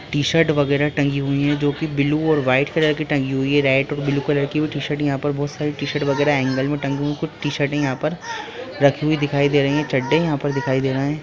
T-shirt वगेरा टंगी हुई है जो की ब्लू और व्हाईट कलर की टंगी हुई है रेड और ब्लू कलर की वो टी-शर्ट यहाँ पे बहोत सारी टी-शर्ट वगेरा हैंगर में टंगी हुई और कुछ टी-शर्ट यहां पर रखी हुई दिखाई दे रही है चड्डे यहां पर दिखाई दे रहे है।